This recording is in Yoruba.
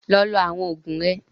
Lọ lo àwọn òògùn rẹ!